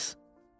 Qulaq as.